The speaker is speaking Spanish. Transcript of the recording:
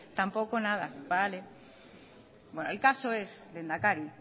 tampoco nada vale el caso es lehendakari